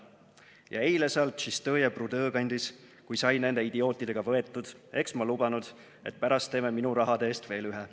Ja eile seal Tšistõje Prudõ kandis, kui sai nende idiootidega võetud, eks ma lubanud, et pärast teeme minu rahade eest veel ühe.